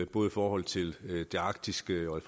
både i forhold til det arktiske og